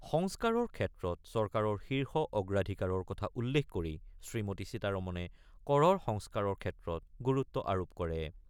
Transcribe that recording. সংস্কাৰৰ ক্ষেত্ৰত চৰকাৰৰ শীৰ্ষ অগ্ৰাধিকাৰৰ কথা উল্লেখ কৰি শ্ৰীমতী সীতাৰমনে কৰৰ সংস্কাৰৰ ক্ষেত্ৰত গুৰুত্ব আৰোপ কৰে।